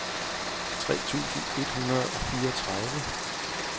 tre tusind et hundrede og fireogtredive